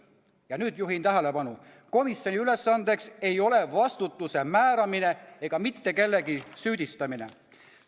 " Ja nüüd juhin tähelepanu: "Komisjoni ülesandeks ei ole vastutuse määramine ega kellegi süüdistamine.